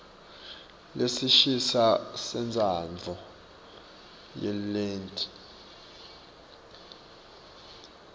lesisha sentsandvo yelinyenti